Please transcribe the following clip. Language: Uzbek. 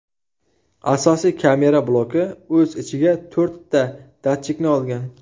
Asosiy kamera bloki o‘z ichiga to‘rtta datchikni olgan.